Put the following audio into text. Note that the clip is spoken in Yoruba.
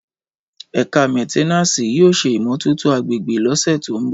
Ẹkà mẹtẹnàsí yio sẹ ìmómòtótò àgbẹgbẹ lọsẹ to mbọ